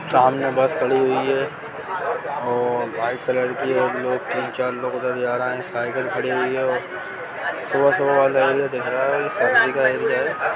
सामने बस खड़ी हुई है और व्हाइट कलर की तीन चार लोग उधर जा रहे हैसाइकिल खड़ी हुई है सुबह-सुबह लोग दिख रहा है।